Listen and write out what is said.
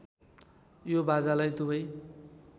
यो बाजालाई दुवै